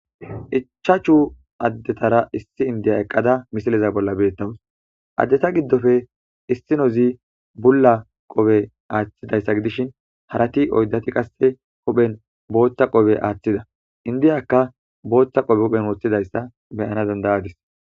Ichchachu adetara issi indiya eqada misilezan bola betawusi adeta gidoppe issinozi bula qoppe aththidayisa gidishin harati oyidati qase hupheni botha qoppe aththida indiyaka hupheni botha qoppe wothidayisa beyanawusi danidadusi